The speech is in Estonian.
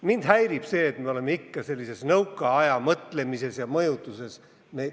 Mind häirib see, et oleme ikka sellises nõukaaja mõtlemises ja mõjutuses kinni.